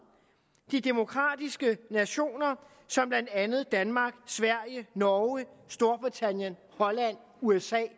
de demokratiske nationer som blandt andet danmark sverige norge storbritannien holland usa